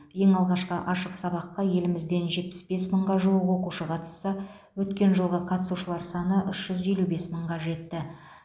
ең алғашқы ашық сабаққа елімізден жетпіс бес мыңға жуық оқушы қатысса өткен жылғы қатысушылар саны үш жүз елу бес мыңға жетті